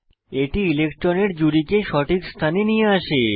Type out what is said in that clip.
এটি ইলেক্ট্রনের জুড়িকে সঠিক স্থানে নিয়ে আসে